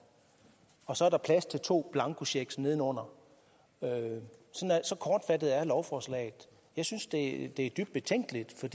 og så er der plads til to blankocheck nedenunder så kortfattet er lovforslaget jeg synes det er dybt betænkeligt for